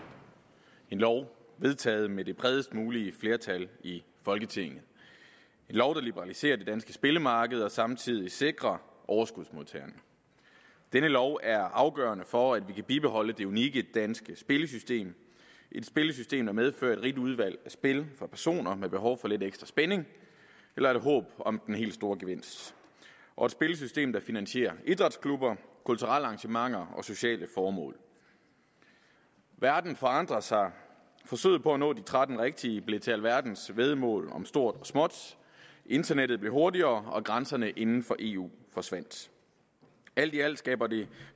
en lov vedtaget med det bredest mulige flertal i folketinget en lov der liberaliserer det danske spillemarked og samtidig sikrer overskudsmodtagerne denne lov er afgørende for at vi kan bibeholde det unikke danske spillesystem et spillesystem der medfører et rigt udvalg af spil for personer med behov for lidt ekstra spænding eller et håb om den helt store gevinst og et spillesystem der finansierer idrætsklubber kulturelle arrangementer og sociale formål verden forandrer sig forsøget på nå de tretten rigtige blev til alverdens væddemål om stort og småt internettet blev hurtigere og grænserne inden for eu forsvandt alt i alt skabte det